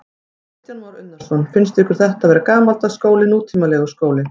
Kristján Már Unnarsson: Finnst ykkur þetta vera gamaldags skóli, nútímalegur skóli?